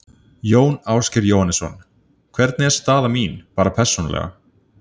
Jón Ásgeir Jóhannesson: Hvernig er staða mín, bara persónulega?